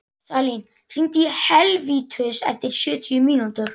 Salín, hringdu í Helvítus eftir sjötíu mínútur.